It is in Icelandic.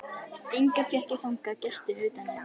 Enga fékk ég þangað gesti utan einn.